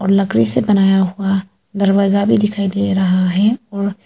लकड़ी से बनाया हुआ दरवाजा भी दिखाई दे रहा है और--